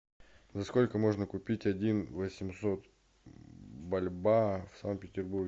за сколько можно купить один восемьсот бальбоа в санкт петербурге